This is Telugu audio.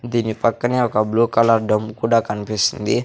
దీని పక్కనే ఒక బ్లూ కలర్ డమ్ము కూడా కనిపిస్తుంది.